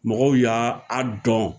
Mɔgɔw y'a a dɔn.